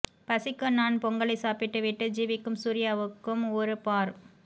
பசிக்கு நான் பொங்கலை சாப்பிட்டு விட்டு ஜீவிக்கும் சூர்யாவுக்கும் ஒரு பார்